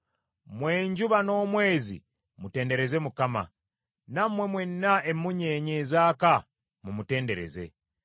Mmwe enjuba n’omwezi mutendereze Mukama , nammwe mwenna emmunyeenye ezaaka mumutendereze.